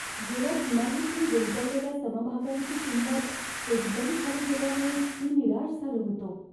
गेल्या तिमाहीत मी गुंतवलेल्या समभागांची किंमत एकदम खाली गेल्याने मी निराश झालो होतो.